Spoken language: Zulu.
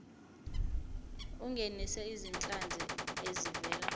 ungenise izinhlanzi ezivela